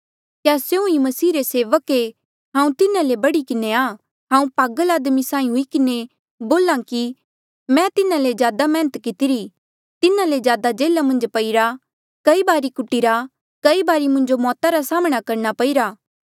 क्या स्यों ईं मसीह रे सेवक ऐें हांऊँ तिन्हा ले बढ़ी किन्हें आ हांऊँ पागल आदमी साहीं हुई किन्हें बोल्हा कि मैं तिन्हा ले ज्यादा मैहनत कितिरी तिन्हा ले ज्यादा जेल्हा मन्झ पाईरा कई बारी कुटीरा कई बारी मुंजो मौता रा साम्हणां करणा पईरा